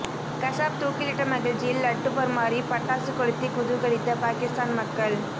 கசாப் தூக்கிலிட்ட மகிழ்ச்சியில் லட்டு பரிமாறி பட்டாசு கொளுத்தி குதூகளித்த பாகிஸ்தான் மக்கள்